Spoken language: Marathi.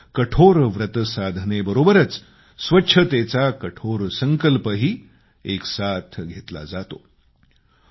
तिथं कठोर व्रत साधनेबरोबरच स्वच्छतेचा कठोर संकल्पही घेतला जातो